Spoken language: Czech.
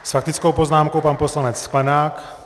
S faktickou poznámkou pan poslanec Sklenák.